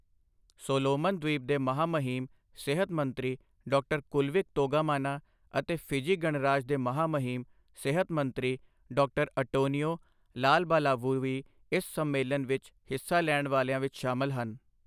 Solomon ਦ੍ਵੀਪ ਦੇ ਮਹਾਮਹਿਮ ਸਿਹਤ ਮੰਤਰੀ ਡਾ. ਕੁਲਵਿਕ ਤੋਗਾਮਾਨਾ ਅਤੇ ਫਿਜੀ ਗਣਰਾਜ ਦੇ ਮਹਾਮਹਿਤ ਸਿਹਤ ਮੰਤਰੀ ਡਾ. ਅਟੋਨਿਓ ਲਾਲਬਾਲਾਵੂ ਵੀ ਇਸ ਸੰਮੇਲਨ ਵਿੱਚ ਹਿੱਸਾ ਲੈਣ ਵਾਲੀਆਂ ਵਿੱਚ ਸ਼ਾਮਲ ਹਨ।